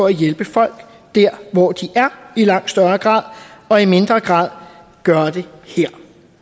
at hjælpe folk der hvor de er og i mindre grad at gøre det her